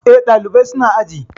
Eh, ɗalibai su na aji